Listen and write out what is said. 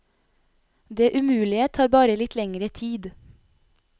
Det umulige tar bare litt lengre tid.